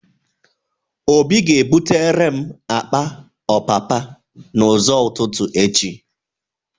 Obi ga-ebutere m akpa ọpapa n'ụzọ ụtụtụ echi.